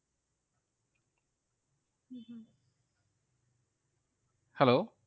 Hello